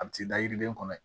A bi t'i da yiriden kɔnɔ ye